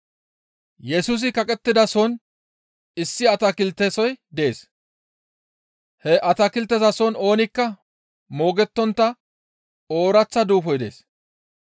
Yesusi kaqettidasohon issi atakiltesoy dees. He atakiltezason oonikka moogettontta ooraththa duufoy dees.